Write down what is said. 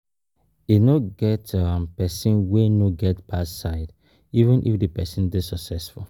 E no get um person wey no get bad side, even if di person dey successful